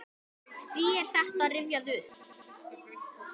Hví er þetta rifjað upp?